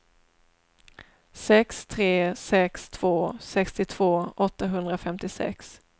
sex tre sex två sextiotvå åttahundrafemtiosex